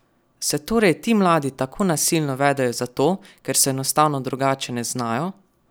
Se torej ti mladi tako nasilno vedejo zato, ker se enostavno drugače ne znajo?